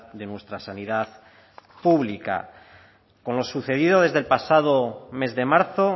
de nuestra sanidad pública con lo sucedido desde el pasado mes de marzo